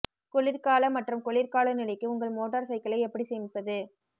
குளிர்கால மற்றும் குளிர் காலநிலைக்கு உங்கள் மோட்டார் சைக்கிளை எப்படி சேமிப்பது